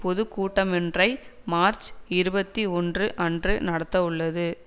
பொதுக்கூட்டமொன்றை March இருபத்தி ஒன்று அன்று நடத்தவுள்ளது